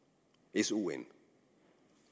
s o n